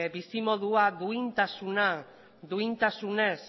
bizimodua duintasuna duintasunez